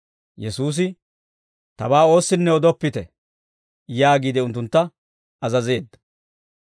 Yesuusi, «Tabaa oossinne odoppite» yaagiide unttuntta azazeedda.